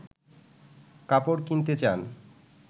কাপড় কিনতে চান